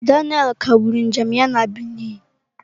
Daniel kagburu njem ya na Benin.